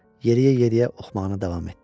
Yeriyə-yeriyə oxumağına davam etdi.